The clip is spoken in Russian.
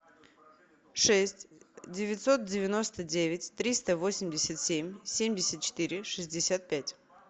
шесть девятьсот девяносто девять триста восемьдесят семь семьдесят четыре шестьдесят пять